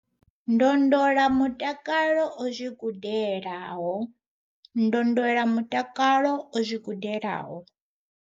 ndo ndola mutakalo o zwi gudelaho, ndo ndola mutakalo o zwi gudelaho.